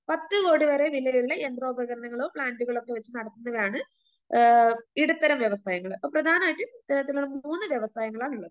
പത്തു കോടി വരെ വിലയുള്ള യന്ത്രോപകരണങ്ങളോ പ്ലാന്റുകളോ ഒക്കെ വെച്ച് നടത്തുന്നതാണ് ആ ഇടത്തരം വ്യവസായങ്ങള്. അ പ്രധാനമായിട്ട് ഇത്തരത്തില് മൂന്നു വ്യവസായങ്ങളാണുള്ളത്.